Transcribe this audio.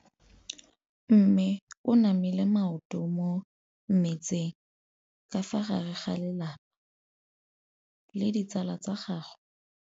Mme o namile maoto mo mmetseng ka fa gare ga lelapa le ditsala tsa gagwe.